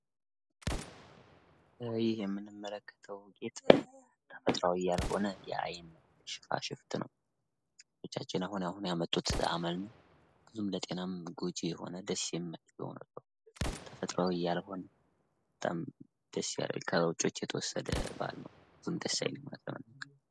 ይህ የምንመለከተው ጌጥ ተፈጥሯዊ ያልሆነ የአይን ሽፋሽፍት ነው። እህቶቻችን አሁን አሁን ያመጡት አመል ነው። ብዙም ለጤና ጎጅ የሆነ ደስ የማይል ተፈጥሯዊ ያልሆነ ከውጮች የተወሰደ ባህል ነው። ምንም ደስ አይልም።